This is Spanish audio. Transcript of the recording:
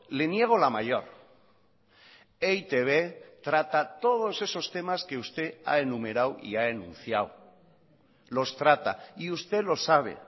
le niego la mayor e i te be trata todos esos temas que usted ha enumerado y ha enunciado los trata y usted lo sabe